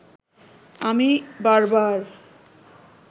আমি বারবার